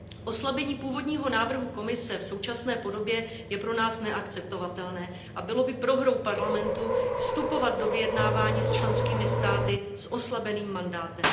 Oslabení původního návrhu Komise v současné podobě je pro nás neakceptovatelné a bylo by prohrou Evropského parlamentu vstupovat do vyjednávání s členskými státy s oslabeným mandátem.